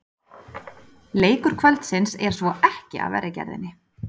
Leikur kvöldsins er svo ekki af verri gerðinni!